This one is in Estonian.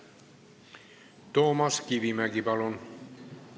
Toomas Kivimägi, palun!